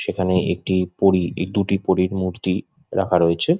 সেখানে একটি পরি দুটি পরির মূর্তি রাখা রয়েছে।